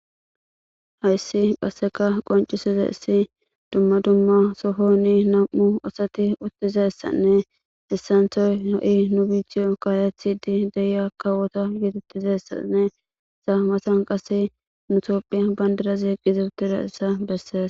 Hayssi qassekka qonccessizayssi dumma dumma sohoni nam7u asathi uththizayssanne issanththoy ha7i nu biiththiyo kaaleththiiddi de7iya kawotha geeththzayssane ha mathan qassi nu toophphiya banddiraze eqqizadizayssa bessees.